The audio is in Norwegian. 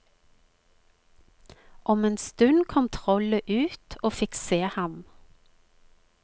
Om en stund kom trollet ut og fikk se ham.